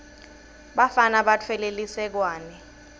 bafana batfwele lisekwane